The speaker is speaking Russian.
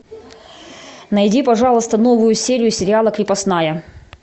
найди пожалуйста новую серию сериала крепостная